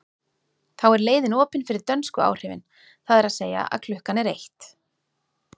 Þá er leiðin opin fyrir dönsku áhrifin, það er að segja að klukkan er eitt.